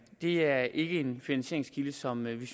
det er ikke en finansieringskilde som vi i